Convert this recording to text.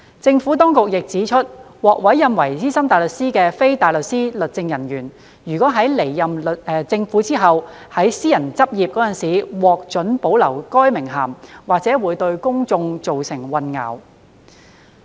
政府當局亦指出，獲委任為資深大律師的非大律師律政人員，若在離任政府後及於私人執業時獲准保留該名銜，或會對公眾造成混淆。